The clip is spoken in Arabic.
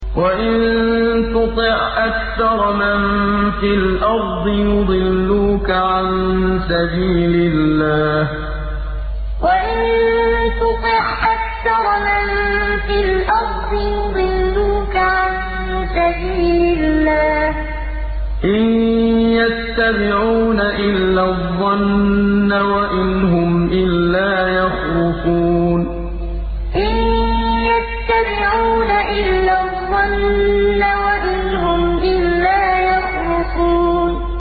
وَإِن تُطِعْ أَكْثَرَ مَن فِي الْأَرْضِ يُضِلُّوكَ عَن سَبِيلِ اللَّهِ ۚ إِن يَتَّبِعُونَ إِلَّا الظَّنَّ وَإِنْ هُمْ إِلَّا يَخْرُصُونَ وَإِن تُطِعْ أَكْثَرَ مَن فِي الْأَرْضِ يُضِلُّوكَ عَن سَبِيلِ اللَّهِ ۚ إِن يَتَّبِعُونَ إِلَّا الظَّنَّ وَإِنْ هُمْ إِلَّا يَخْرُصُونَ